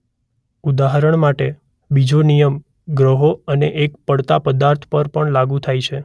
ઉદાહરણ માટે બીજો નિયમ ગ્રહો અને એક પડતા પદાર્થ પર પણ લાગૂ થાય છે.